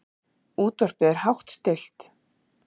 Útvarpið er hátt stillt.